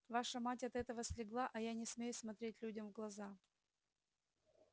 ваша мать от этого слегла а я не смею смотреть людям в глаза